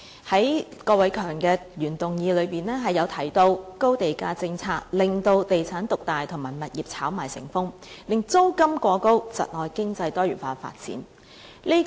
在郭偉强議員的原議案中提及高地價政策令地產業獨大及物業炒賣成風，令租金過高，窒礙經濟多元化發展。